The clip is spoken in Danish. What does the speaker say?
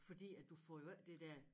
Fordi at du får jo ikke det der